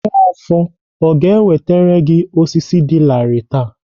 Nwafor ọ ga-ewetere osisi dị larịị taa?